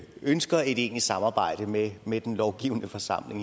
ønsker et egentligt samarbejde med med den lovgivende forsamling